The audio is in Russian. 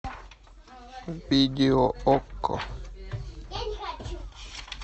видео окко